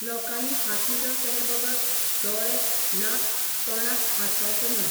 लोकांनी हात नितळ केले बगर दोळे, नाक, तोंडाक हात लावचो न्हय.